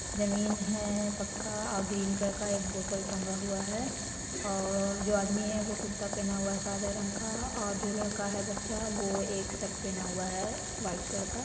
ज़मीन है पक्का एक ग्रीन कलर का एक बोतल टंगा हुआ है और जो आदमी है वो कुर्ता पहना हुआ है सादा रंग का और जो लड़का है बच्चा वो एक शर्ट पहना हुआ है वाइट कलर का।